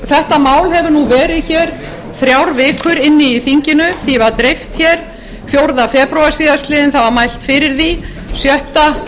þetta mál hefur verið í þrjár vikur í þinginu því var dreift fjórða febrúar síðastliðnum það var mælt fyrir því sjötta